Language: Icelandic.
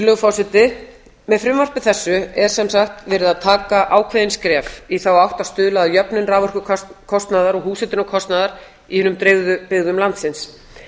virðulegur forseti með frumvarpi þessu er sem sagt verið að taka ákveðin skref í þá átt að stuðla að jöfnun raforkukostnaðar og húshitunarkostnaðar í hinum dreifðu byggðum landsins